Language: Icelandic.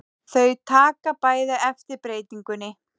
Þau taka bæði eftir breytingunni.